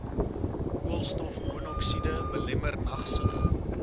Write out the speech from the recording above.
koolstofmonokside belemmer nagsig